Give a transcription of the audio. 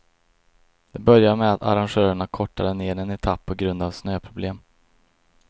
Det började med att arrangörerna kortade ned en etapp på grund av snöproblem.